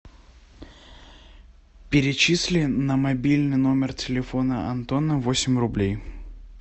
перечисли на мобильный номер телефона антона восемь рублей